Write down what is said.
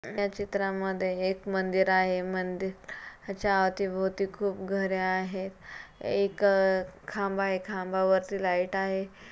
या चित्रामध्ये एक मंदिर आहे मंदिर च्या अवती भोवती खूप घरे आहे एक खांब आहे खांबावरती लाइट आहे.